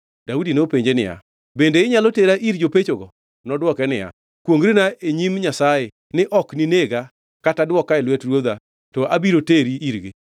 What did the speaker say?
Daudi nopenje niya, “Bende inyalo tera ir jopechogi?” Nodwoke niya, “Kwongʼrina e nyim Nyasaye ni ok ninega kata dwoka e lwet ruodha, to abiro teri irgi.”